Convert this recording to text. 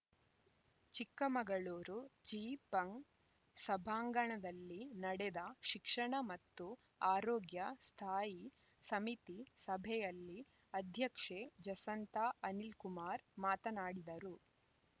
ಚಿಕ್ಕಮಗಳೂರು ಜಿಪಂ ಸಭಾಂಗಣದಲ್ಲಿ ನಡೆದ ಶಿಕ್ಷಣ ಮತ್ತು ಆರೋಗ್ಯ ಸ್ಥಾಯಿ ಸಮಿತಿ ಸಭೆಯಲ್ಲಿ ಅಧ್ಯಕ್ಷೆ ಜಸಂತಾ ಅನಿಲ್‌ಕುಮಾರ್‌ ಮಾತನಾಡಿದರು